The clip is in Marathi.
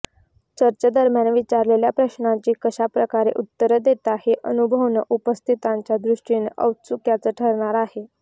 चर्चेदरम्यान विचारलेल्या प्रश्नांची कशाप्रकारे उत्तरं देतो हे अनुभवणं उपस्थितांच्या दृष्टीनं औत्सुक्याचं ठरणार आहे